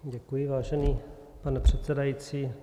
Děkuji, vážený pane předsedající.